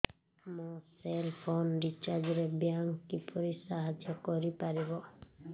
ମୋ cell phone recharge ରେ bank କିପରି ସାହାଯ୍ୟ କରିପାରିବ